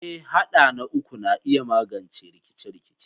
Eh, haɗa na uku na iya magance rikice-rikice.